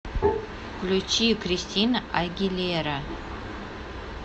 включи кристина агилера